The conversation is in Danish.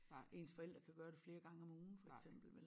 Ens forældre kan gøre det flere gange om ugen for eksempel vel